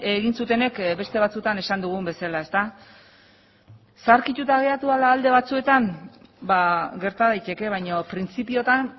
egin zutenek beste batzuetan esan dugun bezala zaharkituta geratu dela alde batzuetan ba gerta daiteke baina printzipioetan